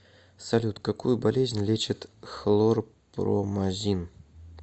салют какую болезнь лечит хлорпромазин